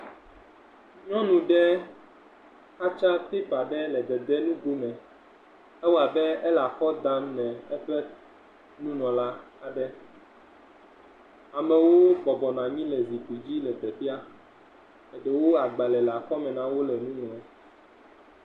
Nyɔnu ɖe xatsa pipa ɖe le dede nu go me, alabe ele akɔ dam ne eƒe nunɔla aɖe, amewo bɔbɔ nɔ anyi le zi dzi le teƒea, eɖewo agbalẽ le akɔme na wo le nu ŋlɔm.